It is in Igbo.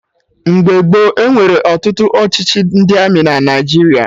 Mgbe gboo, enwere ọtụtụ ọchịchị ndị Armị na Naijiria